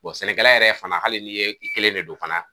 sɛnɛkɛla yɛrɛ fana hali ni e kelen de don fana